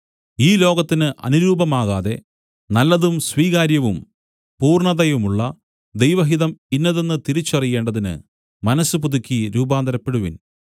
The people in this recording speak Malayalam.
ഈ ലോകത്തിനു അനുരൂപമാകാതെ നല്ലതും സ്വീകാര്യവും പൂർണ്ണതയുമുള്ള ദൈവഹിതം ഇന്നതെന്ന് തിരിച്ചറിയേണ്ടതിന് മനസ്സ് പുതുക്കി രൂപാന്തരപ്പെടുവിൻ